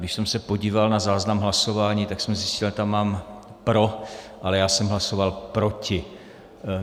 Když jsem se podíval na záznam hlasování, tak jsem zjistil, že tam mám pro, ale já jsem hlasoval proti.